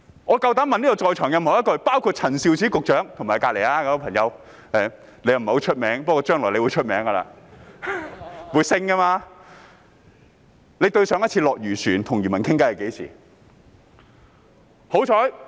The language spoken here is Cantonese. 我膽敢問會議廳內各人，包括陳肇始局長及她身旁那位——他不太出名，不過將來會出名的，日後會升職的——上一次落漁船與漁民傾談是何時？